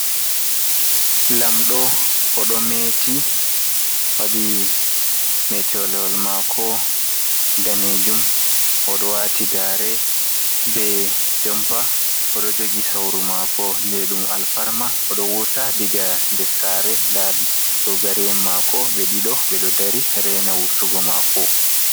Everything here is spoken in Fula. Lamɗo "oɗo meeti waɗi metalewol mako danejum. Oɗo wati gare be jompa, oɗo jogi sauru mako je ɗum alfarma. Oɗo wurta daga nder sare. nda dogari, en mako ɓe ɗiɗo ɓeɗo dari rena vurtugo mako.